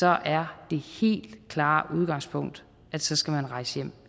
er det helt klare udgangspunkt at så skal man rejse